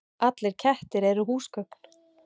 Allir kettir eru húsgögn